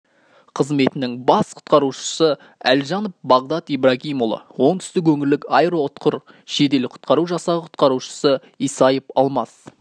қызметінің бас құтқарушысы әлжанов бағдат ибрагимұлы оңтүстік өңірлік аэроұтқыр жедел құтқару жасағы құтқарушысы исаев алмас